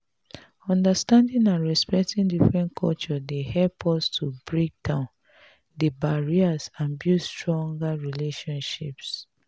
understanding and respecting different cultures dey help us to break down di barriers and build stronger relationships.